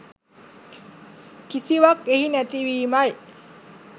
කිසිවක් එහි නැති වීමයි.